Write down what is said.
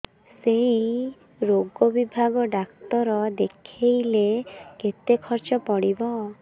ସେଇ ରୋଗ ବିଭାଗ ଡ଼ାକ୍ତର ଦେଖେଇଲେ କେତେ ଖର୍ଚ୍ଚ ପଡିବ